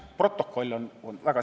Protokoll on olemas.